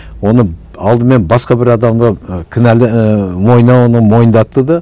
оны алдымен басқа бір адамға і кінәлы ііі мойнына оны мойындатты да